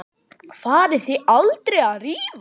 Farið þið aldrei að rífast?